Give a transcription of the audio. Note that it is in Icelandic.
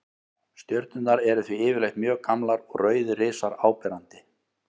Stjörnurnar eru því yfirleitt mjög gamlar og rauðir risar áberandi.